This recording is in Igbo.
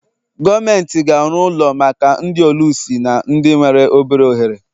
Gọọmenti ga-arụ ụlọ maka ndị ọlụsị na ndị nwere obere ohere.